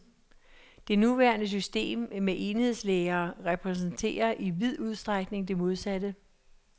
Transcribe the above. Det nuværende system med enhedslærere repræsenterer i vid udstrækning det modsatte.